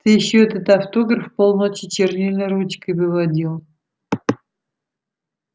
ты ещё этот автограф полночи чернильной ручкой выводил